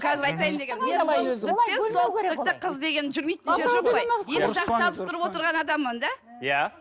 қазір айтайын дегенім солтүстікте қыз деген жүрмейтін жері жоқ қой екі жақты табыстырып отырған адаммын да иә